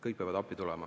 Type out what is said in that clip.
Kõik peavad appi tulema.